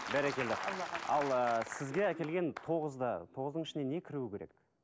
бәрекелді ал ы сізге әкелген тоғызда тоғыздың ішіне не кіруі керек